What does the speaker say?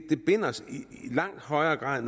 binder os i langt højere grad